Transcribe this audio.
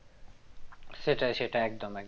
সেটাই সেটাই একদম একদম